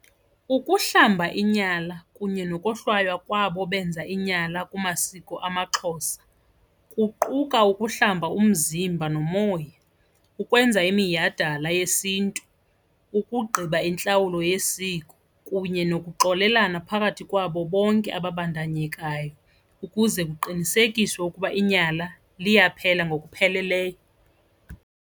Ukuhlamba inyala kunye nokohlwaywa kwabo benza inyala kumasiko amaXhosa kuquka ukuhlamba umzimba nomoya, ukwenza iminyhadala yesiNtu, ukugqiba intlawulo yesiko kunye nokuxolelana phakathi kwabo bonke ababandakanyekayo ukuze kuqinisekiswe ukuba inyala liyaphela ngokupheleleyo.